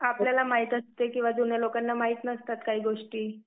आपल्याला माहित असते की जुन्या लोकांना माहित नसतात काही गोष्टी.